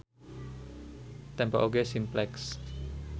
Tempo oge Simplex.